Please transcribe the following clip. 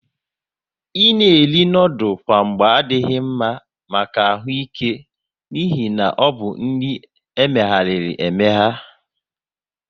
Ị na eri noodules kwa mgba adị mma maka ahụ ike n'ihi na ọbụ nri emeghariri emegha